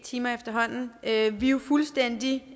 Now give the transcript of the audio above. timer efterhånden er jo fuldstændig